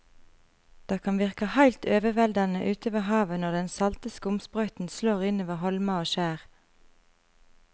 Det kan virke helt overveldende ute ved havet når den salte skumsprøyten slår innover holmer og skjær.